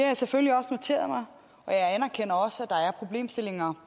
jeg selvfølgelig noteret mig og jeg anerkender også at der er problemstillinger